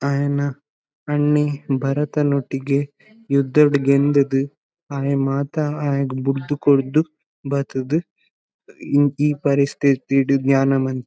ಅಯನ ಅಣ್ಣೆ ಭರತನೊಟ್ಟಿಗೆ ಯುದ್ಧಡ್ ಗೆಂದ್ ದ್ ಅಯೆ ಮಾತ ಅಯಗ್ ಬುರ್ದ್ ಕೊರ್ದು ಬತ್ ದ್ ಇ ಈ ಪರಿಸ್ಥಿತಿಡ್ ಧ್ಯಾನ ಮಂ--